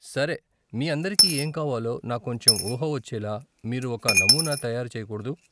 సరే, మీ అందరికి ఏం కావాలో నాకు కొంచెం ఊహ వచ్చేలా మీరు ఒక నమూనా తయారు చెయ్యకూడదూ?